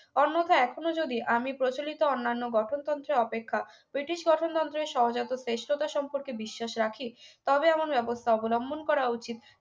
অন্যথা এখনো যদি আমি প্রচলিত অন্যান্য গঠনতন্ত্র অপেক্ষা british গঠনতন্ত্রের সহজাত শ্রেষ্ঠতা সম্পর্কে বিশ্বাস রাখি তাতে আমাদের ব্যবস্থা অবলম্বন করা উচিত